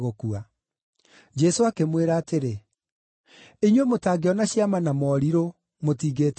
Jesũ akĩmwĩra atĩrĩ, “Inyuĩ mũtangĩona ciama na morirũ, mũtingĩtĩkia.”